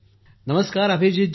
अभिजीत जी नमस्कार ।